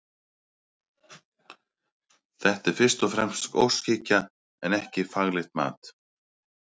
Þetta er fyrst og fremst óskhyggja en ekki faglegt mat.